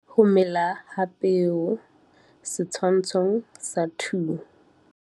Ho mela ha peo. Setshwantsho sa 2.